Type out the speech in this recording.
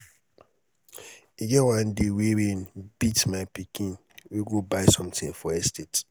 e get one day wey rain beat my pikin wey go buy something for estate